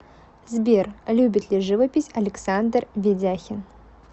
сбер любит ли живопись александр ведяхин